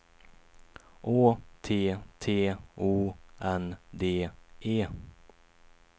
Å T T O N D E